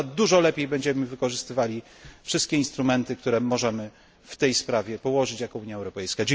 Na pewno dużo lepiej będziemy wykorzystywali wszystkie instrumenty, które możemy w tej sprawie wyłożyć jako Unia Europejska.